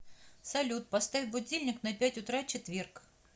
салют поставь будильник на пять утра четверг